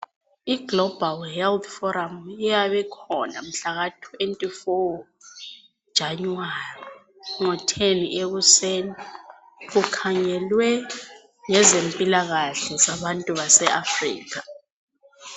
Iglobal health forum iyabe ikhona mhlaka 24 January, ngo 10 ekuseni. Kukhangelwe ngezempilakahle zabantu base Africa.